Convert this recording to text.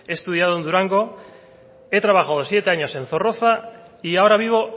he estudiado en durango he trabajado siete años en zorroza y ahora vivo